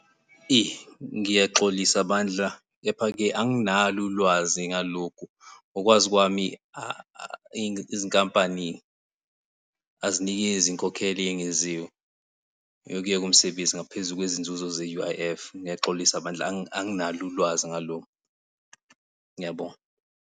Ngiyaxolisa bandla kepha-ke anginalo ulwazi ngalokhu. Ngokwazi kwami izinkampani azinikezi inkokhelo eyengeziwe yokuyeka umsebenzi ngaphezu kwezinzuzo ze-U_I_F. Ngiyaxolisa bandla anginalo ulwazi ngalokho, ngiyabonga.